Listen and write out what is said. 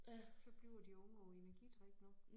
Så bliver de unge af energidrik nu